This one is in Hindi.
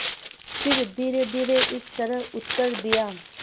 फिर धीरेधीरे इस तरह उत्तर दिया